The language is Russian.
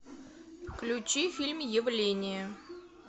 включи фильм явление